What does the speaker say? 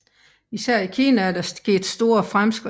Især i Kina er der sket store fremskridt